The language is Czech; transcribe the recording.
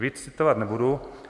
Víc citovat nebudu.